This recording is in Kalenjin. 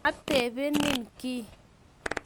Atebenin kiy?